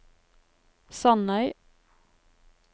Sandeid